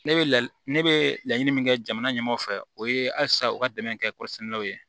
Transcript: Ne bɛ la ne bɛ laɲini min kɛ jamana ɲɛmaaw fɛ o ye halisa u ka dɛmɛ kɛ kɔrɔsɛniw ye